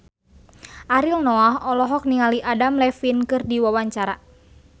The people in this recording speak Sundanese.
Ariel Noah olohok ningali Adam Levine keur diwawancara